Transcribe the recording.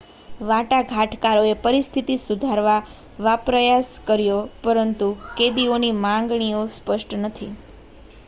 વાટાઘાટકારોએ પરિસ્થિતિ સુધારવાપ્રયાસ કર્યો પરંતુ કેદીઓની માગણીઓ સ્પષ્ટ નથી